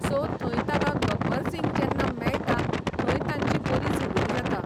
So थंय ताका गब्बर सिंग जेन्ना मेळटा थंय तांची बरी झगडी जाता.